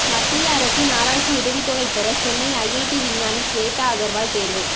மத்திய அரசின் ஆராய்ச்சி உதவித் தொகை பெற சென்னை ஐஐடி விஞ்ஞானி ஸ்வேதா அகர்வால் தேர்வு